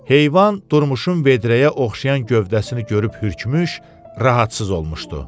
Heyvan Durmuşun vedrəyə oxşayan gövdəsini görüb hürkmüş, rahatsız olmuşdu.